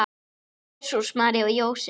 Jesús, María og Jósef!